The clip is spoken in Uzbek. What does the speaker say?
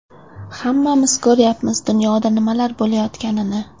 Hammamiz ko‘ryapmiz dunyoda nimalar bo‘layotganini.